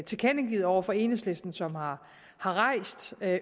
tilkendegivet over for enhedslisten som har rejst